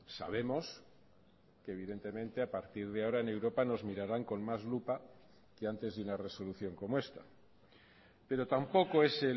sabemos que evidentemente a partir de ahora en europa nos mirarán con más lupa que antes de una resolución como esta pero tampoco es